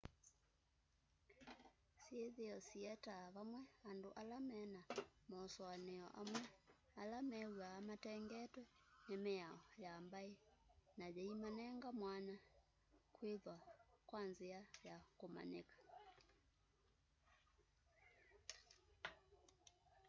syithio siyeetaa vamwe andu ala me na masoania amwi ala mewaa matengetwe ni miao ya mbai na yii manenge mwanya kuthiwa wa nzia ya kumanyika